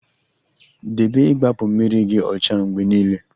Debe igbapu mmiri gi ocha mgbe niile